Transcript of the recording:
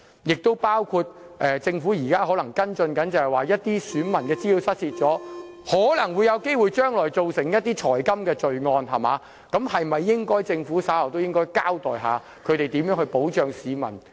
此外，政府亦可能要跟進部分選民資料失竊後可能會造成的財金罪案，政府稍後是否應該交代一下，日後如何在這方面保障市民呢？